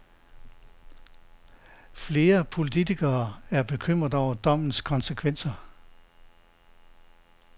Flere politikere er bekymret over dommens konsekvenser.